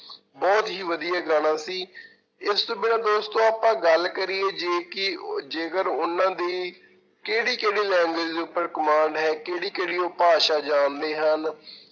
ਬਹੁਤ ਹੀ ਵਧੀਆ ਗਾਣਾ ਸੀ ਇਸ ਤੋਂ ਬਿਨਾਂ ਦੋਸਤੋ ਆਪਾਂ ਗੱਲ ਕਰੀਏ ਜੇ ਕਿ ਜੇਕਰ ਉਹਨਾਂ ਦੀ ਕਿਹੜੀ ਕਿਹੜੀ language ਉਪਰ ਕਮਾਨ ਹੈ ਕਿਹੜੀ ਕਿਹੜੀ ਉਹ ਭਾਸ਼ਾ ਜਾਣਦੇ ਹਨ।